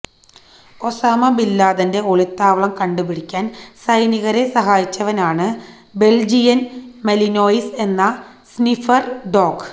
Usama ബിന്ലാദന്റെ ഒളിത്താവളം കണ്ടുപിടിക്കാന് സൈനികരെ സഹായിച്ചവനാണ് ബെല്ജിയന് മലിനോയിസ് എന്ന സ്നിഫര് ഡോഗ്